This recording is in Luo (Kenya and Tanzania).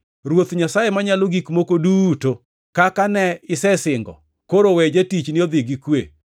“Ruoth Nyasaye Manyalo Gik Moko Duto, kaka ne isesingo, koro we jatichni odhi gi kwe.